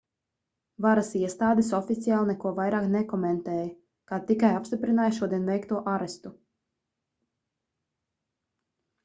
varasiestādes oficiāli neko vairāk nekomentēja kā tikai apstiprināja šodien veikto arestu